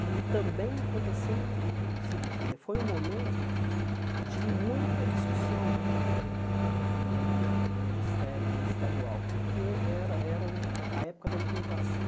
E também aconteceu o o seguinte, quer dizer foi um momento de muita discussão né eh no magistério estadual, porque era eram a época da implantação